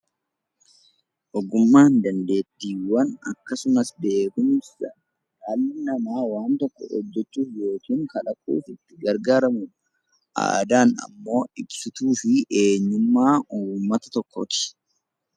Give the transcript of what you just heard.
Ogummaan dandeettiiwwan akkasumas beekkumsa namni tokko wanta tokko hojjechuuf yookiin kalaqee itti gargaaramuudha. Aadaan immoo ibsituu eenyummaa saba tokkooti.